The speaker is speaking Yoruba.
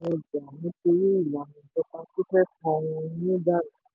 ó ṣe àtìlẹyìn ọjà nítorí ìlànà ìjọba tó lè fọ ohun ìní dànù.